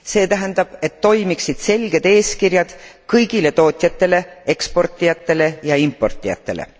See tähendab, et toimiksid selged eeskirjad kõigile tootjatele, eksportijatele ja importijatele.